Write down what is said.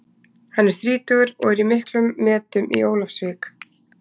Hann er þrítugur og er í miklum metum í Ólafsvík.